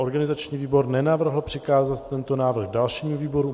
Organizační výbor nenavrhl přikázat tento návrh dalšímu výboru.